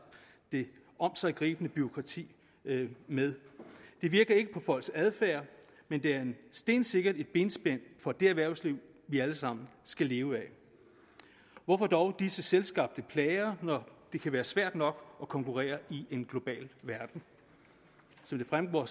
det omsiggribende bureaukrati med det virker ikke på folks adfærd men det er stensikkert et benspænd for det erhvervsliv vi alle sammen skal leve af hvorfor dog disse selvskabte plager når det kan være svært nok at konkurrere i en global verden som det fremgår